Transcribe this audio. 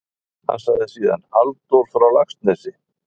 Hann sagði síðan: Halldór frá Laxnesi?